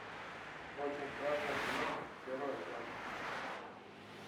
очень страшное кино первая часть